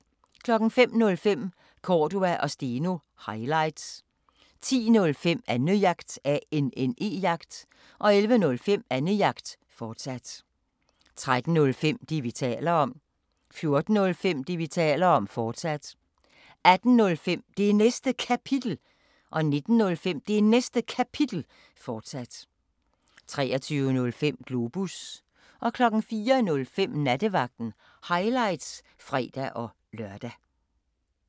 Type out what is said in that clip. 05:05: Cordua & Steno – highlights 10:05: Annejagt 11:05: Annejagt, fortsat 13:05: Det, vi taler om 14:05: Det, vi taler om, fortsat 18:05: Det Næste Kapitel 19:05: Det Næste Kapitel, fortsat 23:05: Globus 04:05: Nattevagten – highlights (fre-lør)